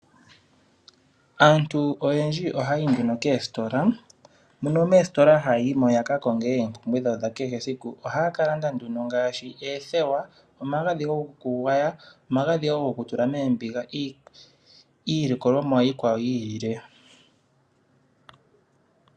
Aantu oyendji ohaya yi nduno koositola, mono moositola haya yi mo ya ka konge oompumbwe dhawo dha kehe esiku. Ohaya ka landa nduno ngaashi oothewa, omagadhi gokugwaya, omagadhi wo gokutula moombiga, niilikolomwa iikwawo yi ilile.